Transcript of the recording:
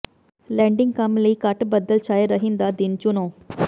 landing ਕੰਮ ਲਈ ਘੱਟ ਬੱਦਲ ਛਾਏ ਰਹਿਣ ਦਾ ਦਿਨ ਚੁਣੋ